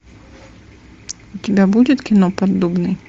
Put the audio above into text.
у тебя будет кино поддубный